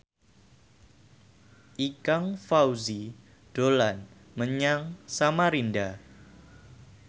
Ikang Fawzi dolan menyang Samarinda